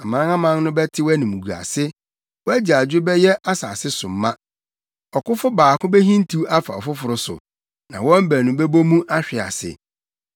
Amanaman no bɛte wʼanimguase; wʼagyaadwo bɛhyɛ asase so ma. Ɔkofo baako behintiw afa ɔfoforo so; na wɔn baanu bɛbɔ mu ahwe ase.”